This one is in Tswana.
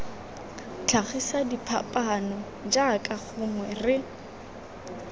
tlhagisa diphapaano jaaka gongwe re